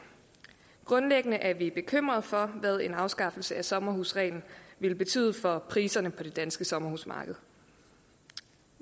grundlæggende er vi bekymret for hvad en afskaffelse af sommerhusreglen vil betyde for priserne på det danske sommerhusmarked